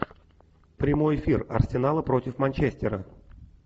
прямой эфир арсенала против манчестера